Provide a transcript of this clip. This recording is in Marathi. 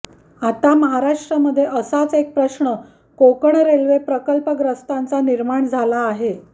आता महाराष्ट्रामध्ये असाच एक प्रश्न कोकण रेल्वे प्रकल्पग्रस्तांचा निर्माण झाला आहे